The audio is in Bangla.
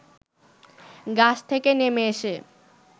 গাছ থেকে নেমে এসে